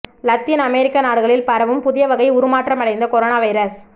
Latin அமெரிக்க நாடுகளில் பரவும் புதிய வகை உருமாற்றம் அடைந்த கொரோனா வைரஸ்